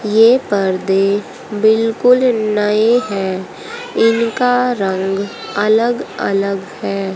ये पर्दे बिल्कुल नए हैं इनका रंग अलग अलग है।